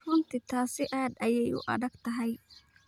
Runtii taasi aad ayay u adag tahay.